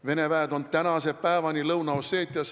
Vene väed on tänase päevani Lõuna-Osseetias.